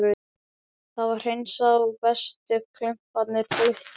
Það var hreinsað og bestu klumparnir fluttir út.